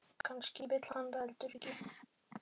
Kannski vill hann það heldur ekki.